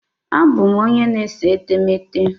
Abụ m onye na-ese etemeete.